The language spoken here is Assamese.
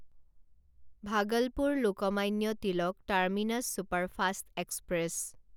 Bhagalpur Lokmanya Tilak terminus superfast express